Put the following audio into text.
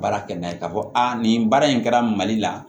Baara kɛ n'a ye k'a fɔ a nin baara in kɛra mali la